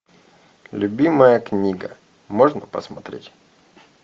любимая книга можно посмотреть